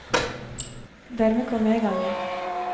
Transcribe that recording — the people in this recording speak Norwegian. Dermed kom jeg i gang igjen.